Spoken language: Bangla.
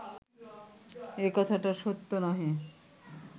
এ কথাটা সত্য নহে